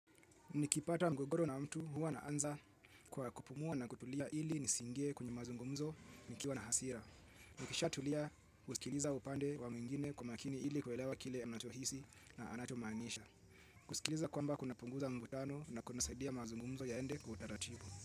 Nikipata mgogoro na mtu huwa naanza kwa kupumua na kutulia ili nisingie kwenye mazungumzo nikiwa na hasira. Nikisha tulia husikiliza upande wa mwingine kwa makini ili kuelewa kile anachohisi na anachomaanisha. Kusikiliza kwamba kuna punguza mvutano na kuna saidia mazungumzo yaende kwa utaratibu.